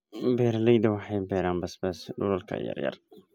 Beeraleydu waxay beeraan basbaas dhulalka yaryar.